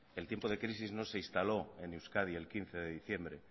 el tiempo de crisis no se instaló en euskadi el quince de diciembre